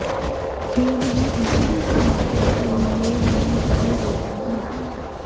खेल ही इंटरैक्टिव नाटक के मोड में जगह लेता है